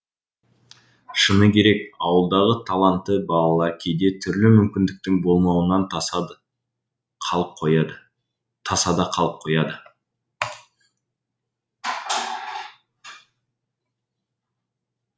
шыны керек ауылдағы талантты балалар кейде түрлі мүмкіндіктің болмауынан тасада қалып қояды